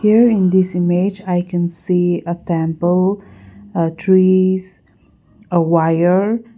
here in this image i can see a temple a trees a wire.